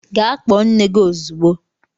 Gaa kpọọ nne gị ozugbo!